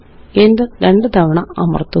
enter രണ്ട് തവണ അമര്ത്തുക